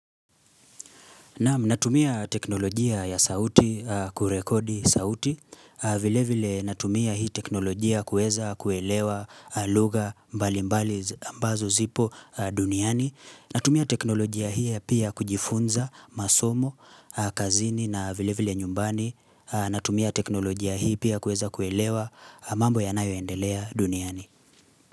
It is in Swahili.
Naam natumia teknolojia ya sauti kurekodi sauti. Vile vile natumia hii teknolojia kueza kuelewa lugha mbalimbali ambazo zipo duniani. Natumia teknolojia hii pia kujifunza masomo, kazini na vile vile nyumbani. Natumia teknolojia hii pia kuweza kuelewa mambo yanayoendelea duniani.